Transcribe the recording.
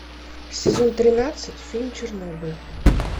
сезон тринадцать фильм чернобыль